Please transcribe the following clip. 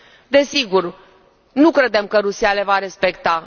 Desigur, nu credem că Rusia le va respecta.